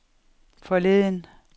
forleden